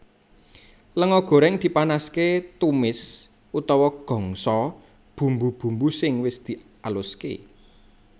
Lenga goreng dipanaske tumis utawa gongso bumbu bumbu sing wis dialuske